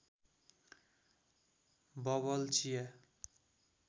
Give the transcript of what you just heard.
bubble चिया